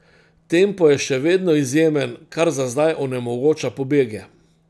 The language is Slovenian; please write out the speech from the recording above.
Tempo je še vedno izjemen, kar za zdaj onemogoča pobege.